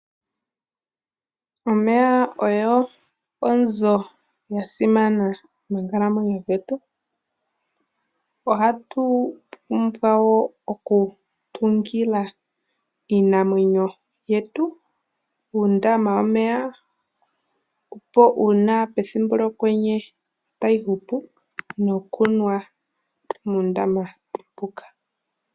Omeya ogo onzo ya simana moonkalamwenyo dhetu. Ohatu pumbwa wo okutungila iinamwenyo yetu uundama womeya, opo pethimnbo lyokwenye tayi hupu nokunwa muundama mbuka.